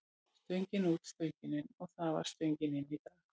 Stöngin út, stöngin inn og það var stöngin inn í dag.